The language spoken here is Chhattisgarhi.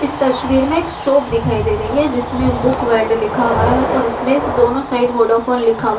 इस तस्वीर में एक शॉप दिखाई दे रही है जिसमें बुक वर्ल्ड लिखा हुआ है और इसमें दोनों साइड वोडाफोन लिखा हुआ है।